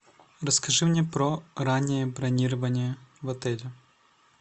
расскажи мне про раннее бронирование в отеле